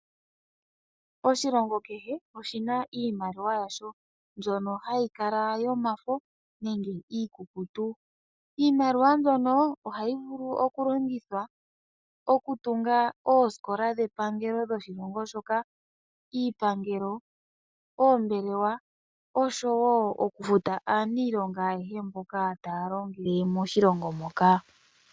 Oshilongo kehe oshi na iimaliwa yasho mbyono hayi kala yomafo nenge iikukutu. Iimaliwa mbyono ohayi vulu okulongithwa okutunga oosikola dhepangelo dhoshilongo shoka, iipangelo, oombelewa noshowo okufuta aaniilonga ayehe mboka taya longele moshilongo moka.